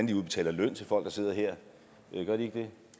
de udbetaler løn til folk der sidder her gør de ikke det